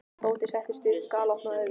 Tóti settist upp og galopnaði augun.